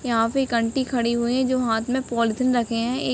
यहाँ पे एक आंटी खड़ी हुई है जो हाथ में पॉलिथीन रखे है। एक --